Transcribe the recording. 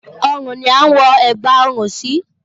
Ọrùn ni a ń wọ ẹ̀gbà ọrùn sí